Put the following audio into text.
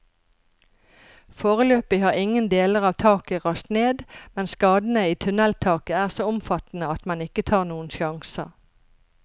Foreløpig har ingen deler av taket rast ned, men skadene i tunneltaket er så omfattende at man ikke tar noen sjanser.